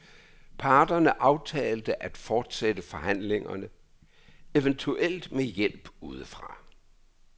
Parterne aftalte at fortsætte forhandlingerne, eventuelt med hjælp ude fra.